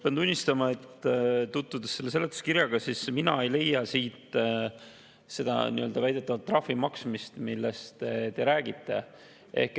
Pean tunnistama, et tutvudes selle seletuskirjaga, mina ei leia siit selle väidetava trahvi maksmist, millest te räägite.